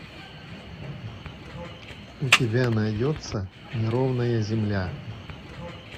у тебя найдется неровная земля